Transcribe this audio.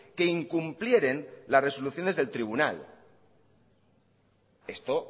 que incumplieren las resoluciones del tribunal esto